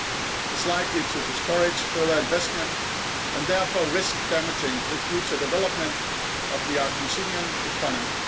It is likely to discourage further investment and therefore risk damaging the future development of the Argentinian economy.